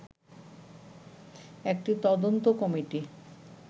একটি তদন্ত কমিটি